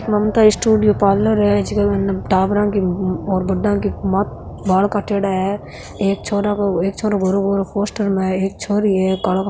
ममता studio parlour है जीके माईने टाबरा की और बड्डा की बाल काटेडा है एक छोरा को एक छोरो गोरो गोरो पोस्टर में है एक छोरी है कालो --